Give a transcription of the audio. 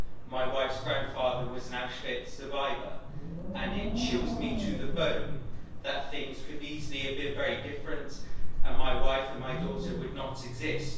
My wife's grandfather was an Auschwitz survivor and it chills me to the bone that things could easily have been very different, and my wife and my daughter would not exist.